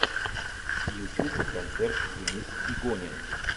ютюб концерт денис игонин